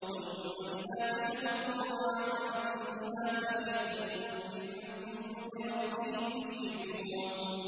ثُمَّ إِذَا كَشَفَ الضُّرَّ عَنكُمْ إِذَا فَرِيقٌ مِّنكُم بِرَبِّهِمْ يُشْرِكُونَ